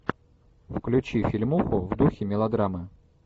включи фильмуху в духе мелодрамы